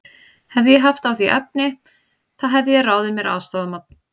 Hefði ég haft á því efni, þá hefði ég ráðið mér aðstoðarmann.